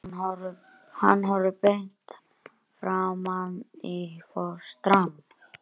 Hann horfir beint framan í fóstrann.